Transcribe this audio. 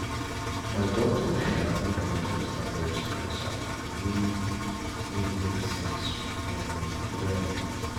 my doctor um make me understand breast cancer the way wey make sense um well.